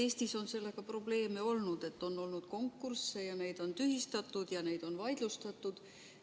Eestis on sellega probleeme olnud, st on olnud konkursse, neid on tühistatud ja neid on vaidlustatud.